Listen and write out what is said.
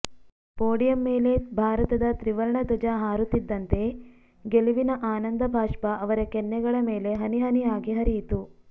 podium ಮೇಲೆ ಭಾರತದ ತ್ರಿವರ್ಣಧ್ವಜ ಹಾರುತ್ತಿದ್ದಂತೆ ಗೆಲವಿನ ಆನಂದ ಬಾಷ್ಟ ಅವರ ಕೆನ್ನೆಗಳ ಮೇಲೆ ಹನಿಹನಿಯಾಗಿ ಹರಿಯಿತು